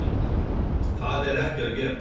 Það er ekki að gerast.